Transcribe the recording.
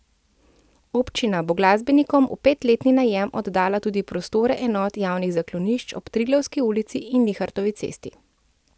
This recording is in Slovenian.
Občina bo glasbenikom v petletni najem oddala tudi prostore enot javnih zaklonišč ob Triglavski ulici in Linhartovi cesti.